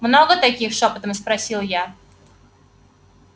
много таких шёпотом спросил я